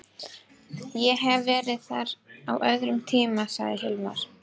Ég hef verið þar á öðrum tíma, sagði Hilmar.